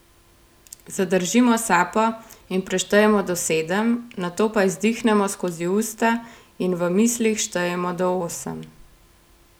Zadržimo sapo in preštejemo do sedem, nato pa izdihnemo skozi usta in v mislih štejemo do osem.